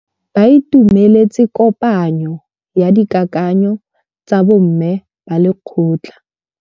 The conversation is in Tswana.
Ba itumeletse kôpanyo ya dikakanyô tsa bo mme ba lekgotla.